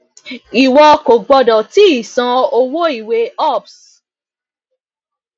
ìwọ kò gbọdọ tíì san owó ìwé ups